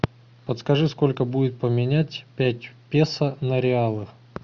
подскажи сколько будет поменять пять песо на реалы